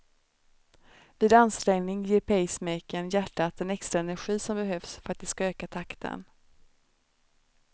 Vid ansträngning ger pacemakern hjärtat den extra energi som behövs för att det ska öka takten.